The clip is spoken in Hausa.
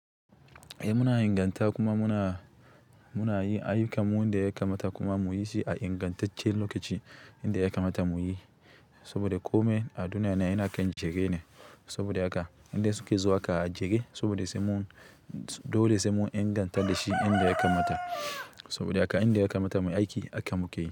Eh muna inganta kuma muna, muna yi aikinmu inda ya kamata kuma muyi shi a ingantaccen lokaci inda ya kamata muyi. Saboda kome a duniya ne yana kan jere ne. Saboda haka inda suke zuwa aka ajiye saboda sai mun, dole sai mun inganta da shi inda ya kamata. Saboda haka inda ya kamata muyi aiki aka muke.